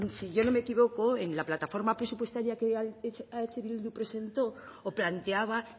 si yo no me equivoco en la plataforma presupuestaria que eh bildu presentó o planteaba